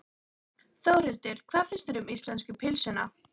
Þórhildur: Hvað finnst þér um íslensku pylsuna?